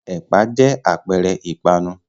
Ẹ̀pà jẹ́ àpẹẹrẹ ìpanu.